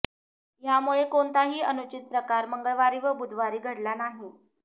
यामुळे कोणताही अनुचित प्रकार मंगळवारी व बुधवारी घडला नाही